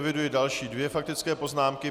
Eviduji další dvě faktické poznámky.